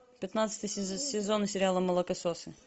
пятнадцатый сезон сериала молокососы